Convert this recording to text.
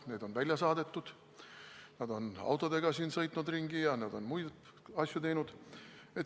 Neid on välja saadetud, nad on autodega siin ringi sõitnud ja on muid asju teinud.